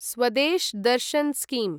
Swadesh Darshan scheme